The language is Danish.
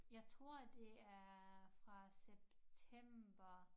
Jeg tror det er fra september